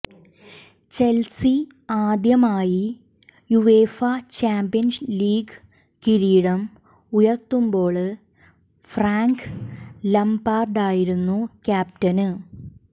Chelsea ആദ്യമായി UEFA champions league കിരീടം ഉയര്ത്തുമ്പോള് ഫ്രാങ്ക് ലംപാര്ഡായിരുന്നു ക്യാപ്റ്റന്